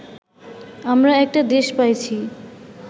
আমরা একটা দেশ পাইছি